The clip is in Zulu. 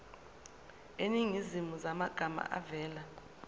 eziningi zamagama avela